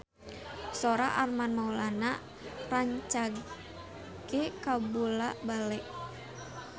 Sora Armand Maulana rancage kabula-bale